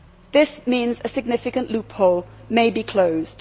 This means a significant loophole may be closed.